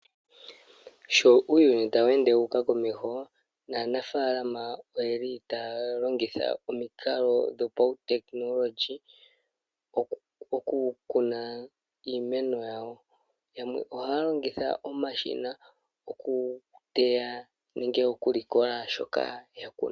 Sho uuyuni tawu ende wu uka komeho, naanafaalama oyeli taya longitha omikalo dhopautekinolondji, dhoku kuna iimeno yawo. Yamwe ohaya longitha omashina, oku teya nenge oku likola shoka ya kuna.